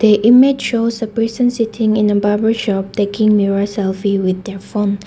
a image shows a person sitting in a barber shop thinking mirror selfie with their phone.